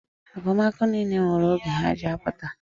Akụmakụ niile nwere oge ha ji apụta.